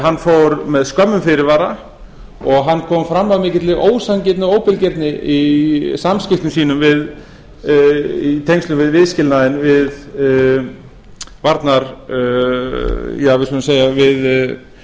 hann fór með skömmum fyrirvara og hann kom fram af mikilli ósanngirni og óbilgirni í samskiptum sínum í tengslum við viðskilnaðinn við